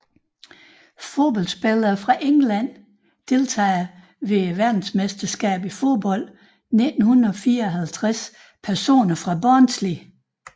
Fodboldspillere fra England Deltagere ved verdensmesterskabet i fodbold 1954 Personer fra Barnsley